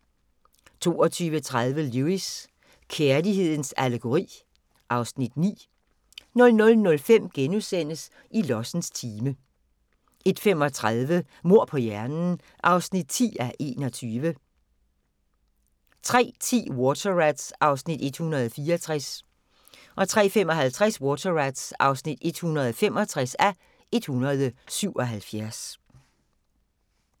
22:30: Lewis: Kærlighedens allegori (Afs. 9) 00:05: I lossens time * 01:35: Mord på hjernen (10:21) 03:10: Water Rats (164:177) 03:55: Water Rats (165:177)